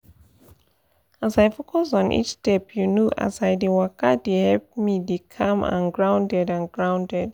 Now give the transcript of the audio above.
as i focus on each step you know as i dey waka dey help me dey calm and grounded and grounded